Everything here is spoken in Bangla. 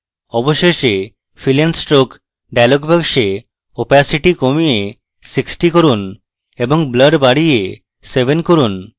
অবশেষে fill and stroke dialog box opacity কমিয়ে 60 করুন এবং blur বাড়িয়ে 7 করুন